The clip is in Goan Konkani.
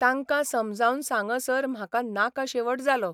तांकां समजावन सांगसर म्हाका नाका शेवट जालो.